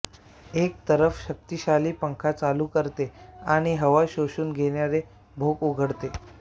एक तरफ शक्तिशाली पंखा चालू करते आणि हवा शोषून घेणारे भोक उघडते